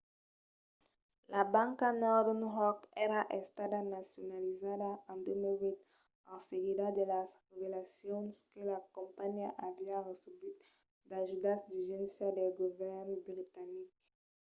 la banca northern rock èra estada nacionalizada en 2008 en seguida de las revelacions que la companhiá aviá recebut d'ajudas d'urgéncia del govèrn britanic